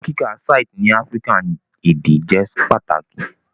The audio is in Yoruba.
Owo kika systes ni African ede jẹ pataki